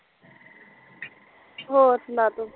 ਹੋਰ ਸੁਣਾ ਤੂੰ